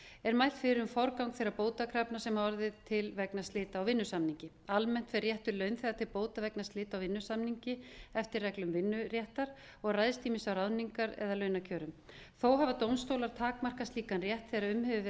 er mælt fyrir um forgang þeirra bótakrafna sem hafa orðið til vegna slita á vinnusamningi almennt er réttur launþega til bóta vegna slita á vinnusamningi eftir reglum vinnuréttar og ræðst ýmist af ráðningar eða launakjörum þó hafa dómstólar takmarkað slíkan rétt þegar um hefur verið